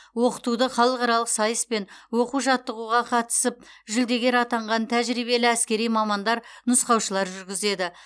оқытуды халықаралық сайыс пен оқу жаттығуға қатысып жүлдегер атанған тәжірибелі әскери мамандар нұсқаушылар жүргізеді